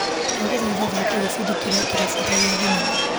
Ndagũthaitha thaka gĩbindi kĩrĩa kĩrabuata gĩa thinema .